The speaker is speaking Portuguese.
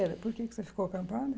era Por que que você ficou acampada?